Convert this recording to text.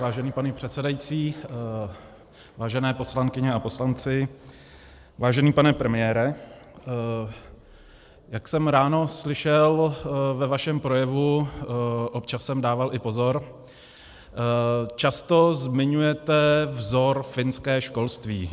Vážený pane předsedající, vážené poslankyně a poslanci, vážený pane premiére, jak jsem ráno slyšel ve vašem projevu, občas jsem dával i pozor, často zmiňujete vzor finské školství.